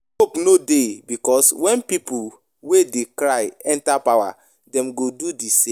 Hope no dey because when pipo wey dey cry enter power dem go do the same